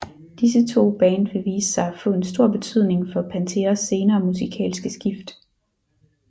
Disse to band ville vise sig at få en stor betydning for Panteras senere musikalske skift